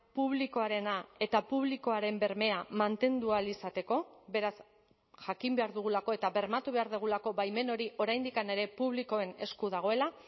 publikoarena eta publikoaren bermea mantendu ahal izateko beraz jakin behar dugulako eta bermatu behar dugulako baimen hori oraindik ere publikoen esku dagoela